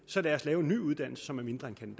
så lad os lave en ny uddannelse som er mindre end